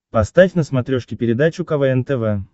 поставь на смотрешке передачу квн тв